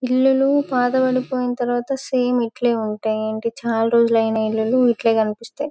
ఇల్లులు పాతబడిపోయిన తర్వాత సమె ఇట్లనే ఉంటాయి చల్ రోజులైనా ఇల్లులు ఇట్లే కనిపిస్తాయి.